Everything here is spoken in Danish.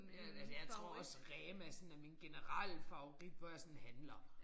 Ja altså jeg tror også Rema sådan er min generelle favorit hvor jeg sådan handler